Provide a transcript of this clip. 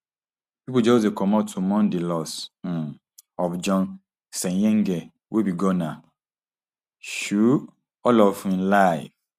pipo just dey comot to mourn di loss um of john senyange wey be gunner um all of im life